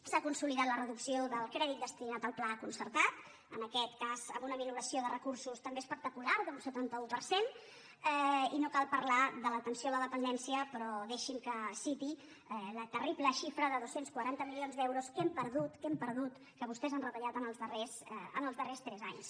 s’ha consolidat la reducció del crèdit destinat al pla concertat en aquest cas amb una minoració de recursos també espectacular d’un setanta un per cent i no cal parlar de l’atenció a la dependència però deixin me que citi la terrible xifra de dos cents i quaranta milions d’euros que hem perdut que hem perdut que vostès han retallat en els darrers tres anys